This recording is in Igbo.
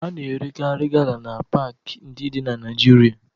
A na-erekarị gala na paakị ndị dị na Naịjirịa